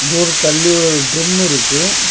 ஒரு தள்ளி ஒரு ட்ரிம் இருக்கு.